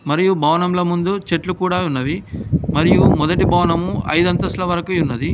మరియు భవనంలో ముందు చెట్లు కూడా ఉన్నవి మరియు మొదటి భవనం ఐదు అంతస్తులు వరకు ఉన్నది.